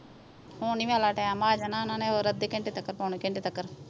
ਹੋਣ ਹੀ ਵਾਲਾ ਟਾਈਮ ਆ ਜਾਣਾ ਓਹਨਾਂ ਨੇ ਅੱਧੇ ਘੰਟੇ ਤਕ ਪੌਣੇ ਘੰਟੇ ਤਿਕਰ